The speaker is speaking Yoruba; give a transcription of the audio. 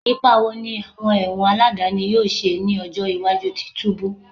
Ipa wo ni awọn ẹwọn aladani yoo ṣe ni ọjọ iwaju ti tubu?